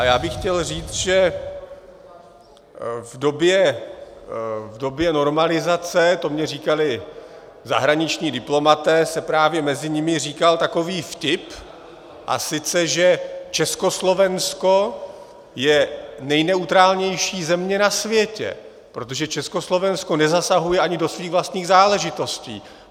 A já bych chtěl říct, že v době normalizace, to mi říkali zahraniční diplomaté, se právě mezi nimi říkal takový vtip, a sice že Československo je nejneutrálnější země na světě, protože Československo nezasahuje ani do svých vlastních záležitostí.